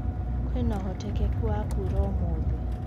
kwĩnaũhotekekũ wa kũura umuthi